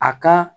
A ka